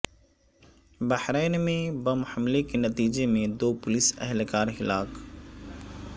بحرین میں بم حملے کے نتیجے میں دو پولیس اہلکار ہلاک